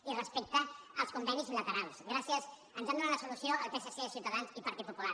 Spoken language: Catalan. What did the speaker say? i respecte als convenis bilaterals gràcies ens han donat la solució el psc ciutadans i partit popular